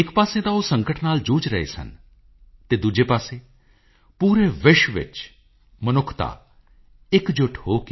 in giving you receive happiness almighty will bless all your actions